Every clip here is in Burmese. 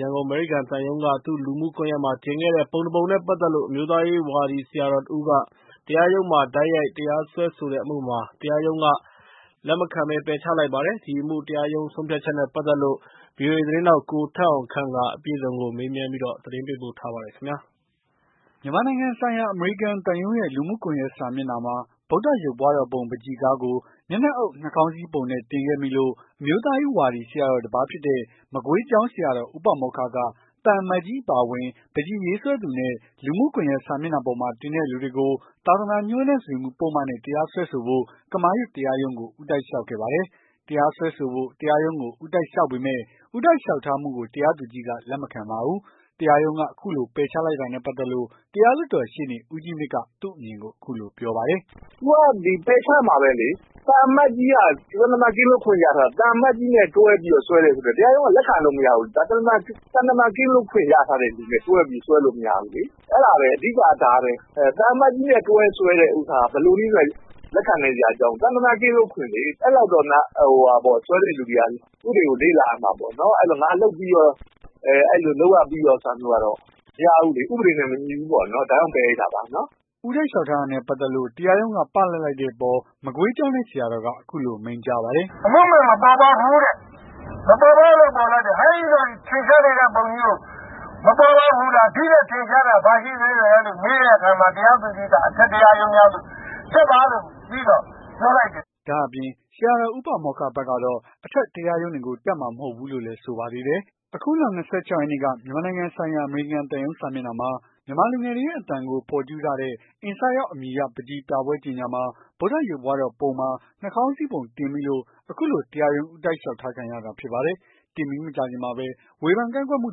ရန်ကုန် အမေရိကန်သံရုံးက သူ့လူမှုကွန်ယက်မှာ တင်ခဲ့တဲ့ ပုံတပုံနဲ့ပတ်သက်လို့ အမျိုးသားရေးဝါဒီဆရာတော်တဦးက တရားရုံးမှာ တိုက်ရိုက်တရားစွဲဆိုတဲ့အမှုမှာ တရားရုံးက လက်မခံ ပယ်ချလိုက်ပါတယ်။ ဒီအမှု တရားရုံးဆုံးဖြတ်ချက်နဲ့ပတ်သက်လို့ ဗွီအိုအေ သတင်ေးထာက် ကိုထက်အောင်ခန့် မေးမြန်း သတင်းပေးပို့ထားပါတယ်။ မြန်မာနိုင်ငံဆိုင်ရာ အမေရိကန်သံရုံးရဲ့ လူမှုကွန်ယက်စာမျက်နှာမှာ ဗုဒ္ဓရုပ်ပွားတော်ပုံ ပန်းချီကားကို မျက်နှာအုပ် နှာခေါင်းစည်းပုံတင်မိခဲ့လို့ အမျိုးသားရေးဝါဒီဆရာတော် တပါးဖြစ်တဲ့ မကွေးကျောင်းဆရာတော် ဦးပါမောက္ခက သံအမတ်ကြီးအပါအဝင် ပန်းချီရေးဆွဲသူနဲ့ လူမှုကွန်ယက်စာမျက်နှာပေါ်မှာ တင်တဲ့လူတွေကို သာသနာ ညှိုးနွမ်းစေမှု ပုဒ်မနဲ့ တရားစွဲဆိုဖို့ ကမာရွတ်တရားရုံးကို ဦးတိုက်လျှောက်ခဲ့ပါတယ်။ တရားစွဲဆိုဖို့ တရားရုံးကို ဦးတိုက်လျှောက်ပေမယ့် ဦးတိုက်လျှောက်ထားမှုကို တရားသူကြီးက လက်မခံပါဘူး။ တရားရုံးက အခုလို ပယ်ချလိုက်တာနဲ့ပတ်သက်လို့ တရားလွှတ်တော် ရှေ့နေ ဦးကြီးမြင့်က သူ့အမြင်ကို အခုလိုပြောပါတယ်။ "သူကပယ်ချက်မှာပဲလေ။ သံအမတ်ကြီးက သံတမန်ကင်းလွတ်ခွင့်ရထားတာ။ သံအမတ်ကြီးနဲ့ တွဲပြီး စွဲတယ်ဆိုရင် တရားရုံးက လက်ခံလို့ရမဘူးလေ။ ဒါသံတမန်ကင်းလွတ်ခွင့်ရထားတဲ့လူနဲ့ တွဲပြီး စွဲလို့ မရဘူးလေ။ အဲ့ဒါပဲ အဓိက က ဒါပဲ။ သံအမတ်ကြီးနဲ့ တွဲစွဲတဲ့ ကိစ္စကို ဘယ်လိုမှ လက်ခံနိုင်စရာ အကြောင်းမရှိဘူး။ သံတမန်ကင်းလွတ်ခွင့်လေ အဲ့လောက်တော့ စွဲတဲ့လူတွေက ဥပဒေကို လေ့လာရမှာပေါ့။ ငါလုပ်ရပြီးရောဆိုပြီး အဲ့ဒါမျိုးက မရဘူးလေ။ ဥပဒေနဲ့ မညီဘူးပေါ့။ ဒါကြောင့် ပယ်လိုက်တာပါ။" ဦးတိုက်လျှောက်ထားတာနဲ့ ပတ်သက်လို့ တရားရုံးက ပလပ်လိုက်တဲ့အပေါ် မကွေးကျောင်းတိုက် ဆရာတော်က အခုလို မိန့်ကြားပါတယ်။ "အမှုမှန်မပေါ်ပေါက်ဘူးတဲ့ မပေါ်ပေါက်လို့ ပယ်လိုက်တယ်။ ဟဲ့ဒီလို ထင်ရှားနေတဲ့ပုံကြီးကို အမှုမှန် မပေါ်ပေါက်ဘူးလား။ ဒီ့ထက် ထင်ရှားတာ ဘာရှိသေးလည်းလို့ မေးတဲ့အခါမှာ တရားသူကြီးက အထက်တရားရုံးများသို့ တက်ပါဆိုပြီး ပြောလိုက်ပါတယ်။" ဒါ့အပြင် ဆရာတော် ဦးပါမောက္ခဘက်ကတော့ အထက်တရားရုံးတွေကို တက်မှာမဟုတ်တော့ဘူးလို့ လည်းဆိုပါသေးတယ်။ အခုလ ၂၆ ရက်နေ့က မြန်မာနိုင်ငံဆိုင်ရာ အမေရိကန်သံရုံး စာမျက်နှာမှာ မြန်မာလူငယ်တွေရဲ့ အသံကို ဖော်ကျူးထားတဲ့ Insight Out အမည်ရတဲ့ ပန်းချီပြပွဲကြေညာမှာ ဗုဒ္ဓရုပ်ပွားတော်ပုံမှာ နှာခေါင်းစည်းပုံ တင်မိလို့ အခုလို တရားရုံး ဦးတိုက်လျှောက်ထားခံရတာ ဖြစ်ပါတယ်။ တင်ပြီးမကြာခင်မှာပဲ ဝေဖန်ကန့်ကွက်မှု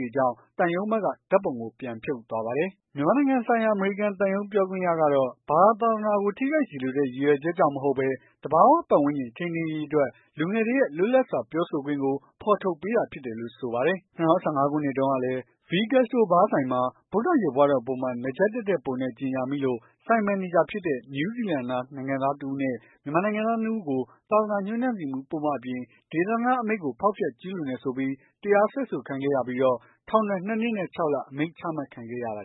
တွေကြောင့် သံရုံးဘက်က ဓာတ်ပုံကို ပြန်ဖြုတ်သွားပါတယ်။ မြန်မာနိုင်ငံဆိုင်ရာ အမေရိကန်သံရုံး ပြောခွင့်ရကတော့ ဘာသာ သာသနာကို ထိခိုက်စေလိုတဲ့ ရည်ရွယ်ချက် ကြောင့်မဟုတ်ဘဲ သဘာ၀ ပတ်ဝန်းကျင်ထိန်းသိမ်းရေးအတွက် လူငယ်တွေရဲ့ လွတ်လပ်စွာပြောဆိုခွင့်ကို ဖော်ထုတ်ပေးတာဖြစ်တယ်လို့ ဆိုပါတယ်။ ၂၀၁၅ ခုနှစ်တုန်းကလည်း V Gastro ဘားဆိုင်ဟာ ဗုဒ္ဓရုပ်ပွားတော်ပုံမှာ နားကြပ်တပ်တဲ့ ပုံနဲ့ ကြေညာမိလို့ ဆိုင်မန်နေဂျာ ဖြစ်တဲ့ နယူးဇီလန်နိုင်ငံသား တစ်ဦးနဲ့ မြန်မာနိုင်ငံသား ၂ ဦးကို သာသနာညှိုးနွမ်းစေမှု ပုဒ်မ အပြင် ဒေသန္တအမိန့်ကို ဖောက်ဖျက်ကျူးလွန်တယ်ဆိုပြီး တရားစွဲခံရကာ ထောင်ဒဏ် ၂ နှစ်နဲ့ ၆လ အမိန့် ချမှတ်ခံခဲ့ရပါတယ်